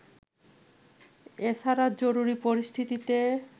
এছাড়া জরুরী পরিস্থিতিতে